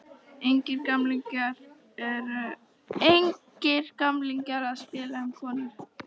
Engir gamlingjar að spila um konur.